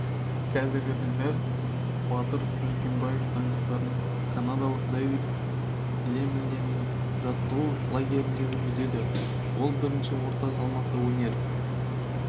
қазіргі таңда батыр жүкембаев дайындықтарын канадалық давид лемьенің жаттығу лагерінде жүргізеді ол бірінші орта салмақта өнер